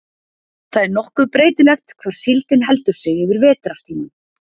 Það er nokkuð breytilegt hvar síldin heldur sig yfir vetrartímann.